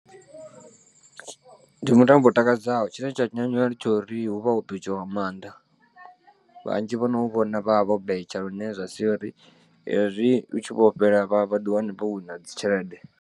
Ndi mutambo u takadzaho tshine tsha nyanyula ndi tshori hu vha ho betshiwa nga maanḓa vhanzhi vhono u vhona vhavha vho betsha lune zwa sia uri hezwi u tshi vho fhela vha vhaḓi wane vho wina dzi tshelede.